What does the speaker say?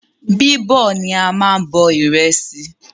Bíbọ̀ ni a máa n bọ ìrẹsì